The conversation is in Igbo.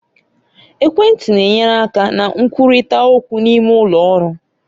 Ekwentị na-enyere aka na nkwurịta okwu n'ime ụlọ ọrụ.